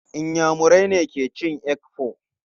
Inyamurai ne ke cin Akpu.